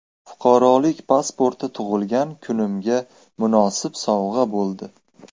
Fuqarolik pasporti tug‘ilgan kunimga munosib sovg‘a bo‘ldi.